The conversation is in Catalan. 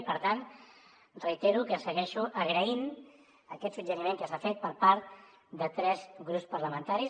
i per tant reitero que segueixo agraint aquest suggeriment que s’ha fet per part de tres grups parlamentaris